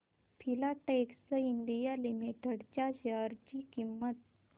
Filatex India Limited च्या share ची किंमत